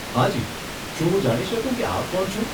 હાજી, શું હું જાણી શકું કે આપ કોણ છો?